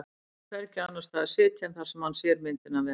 Bjössi vill hvergi annars staðar sitja en þar sem hann sér myndina vel.